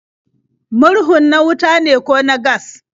Murhun na wuta ne ko na gas?